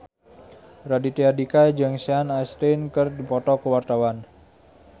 Raditya Dika jeung Sean Astin keur dipoto ku wartawan